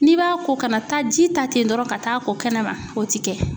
N'i b'a ko kana taa ji ta ten dɔrɔn ka taa ko kɛnɛma o ti kɛ.